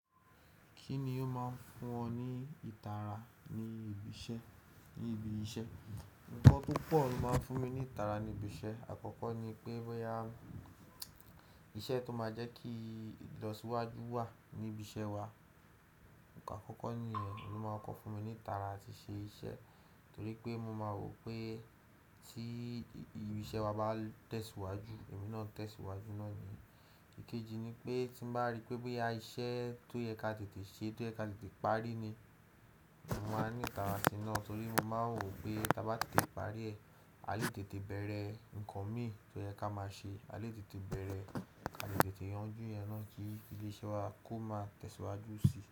Kíni ó máa ń fún ọ ní ìtara ní ibi iṣẹ́? Nǹkan tó pọ̀ ló máa ń fún mi ní ìtara ní ibi iṣẹ́. Àkọ́kọ́ ni pé bóyá iṣẹ́ tó máa jẹ́ kíi ilo síwájú wà ní ibi iṣẹ́ wa. Òhuǹ kàn àkọ́kọ́ nìyẹn ohun ló máa kọko fún mi ní ìtara atí ṣe iṣẹ́ torí pé mo máa wò pé tí ibi iṣẹ́ wa bá tẹ̀síwájú, èmi náà tẹ̀síwájú náà ni. Ìkéji ni pé tí mo bá rí pé bóyá iṣẹ́ tó yẹ ká tètè ṣe tó yẹ ká tètè parí ni, mo máa ní ìtara sí náà torí mo máa n wò pé tí a bá tètè parí rẹ, a lè tètè bẹ̀rẹ̀ ǹnkan mi tó yẹ ká máa ṣe, a lè tètè bẹ̀rẹ̀, a lè tètè yanjú iyen náà kí ilé iṣẹ́ wa kó máa tẹ̀síwájú síi.